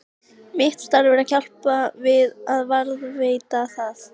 Mitt starf er að hjálpa til við að varðveita það.